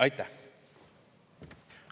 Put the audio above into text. Aitäh!